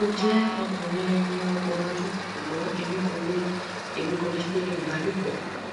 mo jẹ ọkunrin eni ogbon ọdun ṣugbọn emi ko le emi ko le ṣe ibalopo